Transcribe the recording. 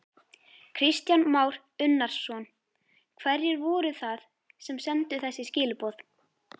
Kristján Már Unnarsson: Hverjir voru það sem sendu þessi skilaboð?